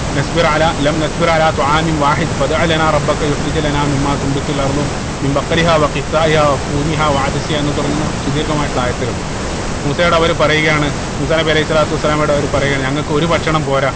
എന്ന് തുടങ്ങുന്ന സുധീർഘമായിട്ടുള്ള ആയത്തുകൾ മൂസയോട് അവർ പറയുകയാണ് മൂസാ നബി അലൈഹി സ്വലാത്തു വസ്സലാമയോട് അവര് പറയുകയാണ് ഞങ്ങൾക്ക് ഒരു ഭക്ഷണം പോരാ